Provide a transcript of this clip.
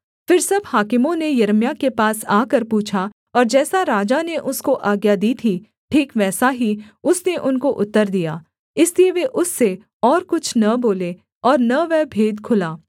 फिर सब हाकिमों ने यिर्मयाह के पास आकर पूछा और जैसा राजा ने उसको आज्ञा दी थी ठीक वैसा ही उसने उनको उत्तर दिया इसलिए वे उससे और कुछ न बोले और न वह भेद खुला